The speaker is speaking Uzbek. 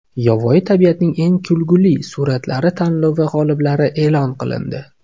Yovvoyi tabiatning eng kulgili suratlari tanlovi g‘oliblari e’lon qilindi .